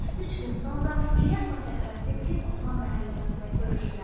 Üç gün sonra İlyasla Fəxrəddin pir Osman məhəlləsində görüşdülər.